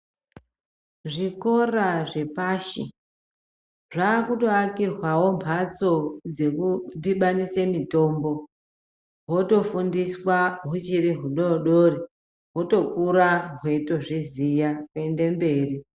Zvikora zvepashi, zvaakutoakirwawo mphatstso dzekudhibanise mitombo. Hotofundiswa huchiri hudodori. Hotokura hweitozviziya ,kuende mberi.